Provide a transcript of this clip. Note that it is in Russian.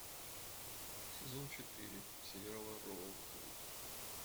сезон четыре сериала роузвуд